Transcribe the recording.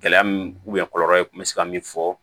Gɛlɛya min kɔlɔlɔ ye kun bɛ se ka min fɔ